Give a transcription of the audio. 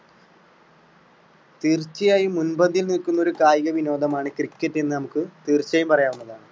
തീർച്ചയായും മുന്‍പന്തിയിൽ നിൽക്കുന്ന ഒരു കായിക വിനോദമാണ് cricket എന്ന് നമുക്ക് തീര്‍ച്ചയായും പറയാവുന്നതാണ്.